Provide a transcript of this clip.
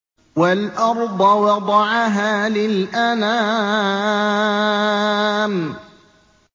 وَالْأَرْضَ وَضَعَهَا لِلْأَنَامِ